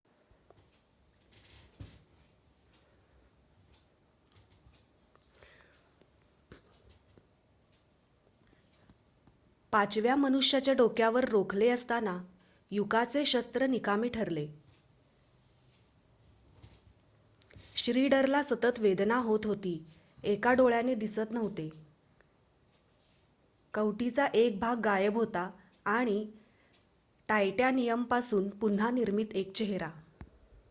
पाचव्या मनुष्याच्या डोक्यावर रोखले असताना युकाचे शस्त्र निकामी ठरले श्नीडरला सतत वेदना होत होती एका डोळ्याने दिसत नव्हते कवटीचा एक भाग गायब होता आणि टायटॅनियमपासून पुन्हा निर्मित एक चेहरा